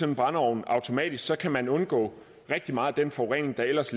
en brændeovn automatisk kan man undgå rigtig meget af den forurening den ellers